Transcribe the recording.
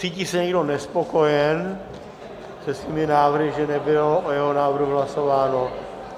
Cítí se někdo nespokojen se svými návrhy, že nebylo o jeho návrhu hlasováno?